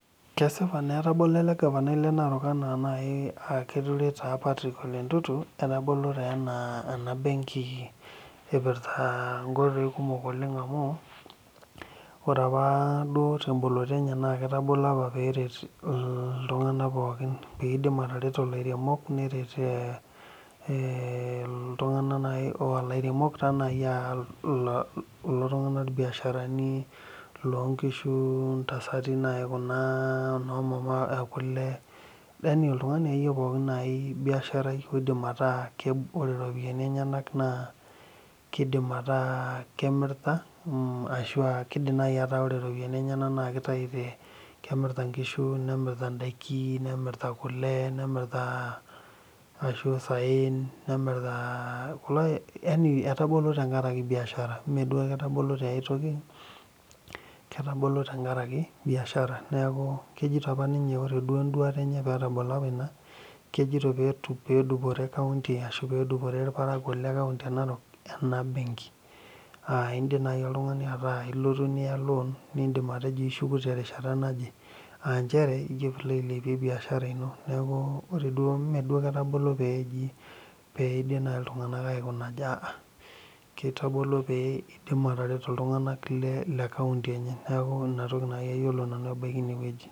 Kesipa naa ano etabolo elegavanaiblenarok aa Patrick ole ntutu etabolo ena benki epirta nkoitoi kumol amu ore apa temboloro enye etabolo petum atareto lairemok ltunganak lairemok nai ltunganak lonkishu nomama ekule oltungani akeyie pooki na kidim ataa ore ropiyani enye nakemirta ore ropiyani nakitau nemirta kule ashu isaen nemirta tenkaraki biashara meketabolo tenkaraki aai toki letabolo tenkaraki biashara ore enduata enye kejito apa ninye ketabolo tenkaraki pedupore ltunganak le narok enabenki aa indim nai oltungani ilotu niya loan nishuku terishata naje aanchere pilo aipei niashara ino meketabolo petum ltunganak aikuna aja ketabolo pee etum atareto ltunganak lekaunti enye neaku inatoki nanu ayiolo ebaki ine